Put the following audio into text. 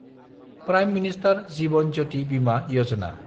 prime minister Jeevan Jyoti Bima Yojana